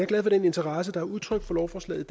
glad for den interesse der er udtrykt for lovforslaget